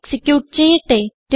execute ചെയ്യട്ടെ